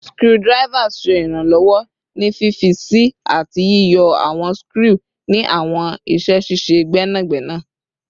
Screwdrivers ṣe iranlọwọ ni fifi sii ati yiyọ awọn skru ni awọn iṣẹ ṣiṣe gbẹnagbẹna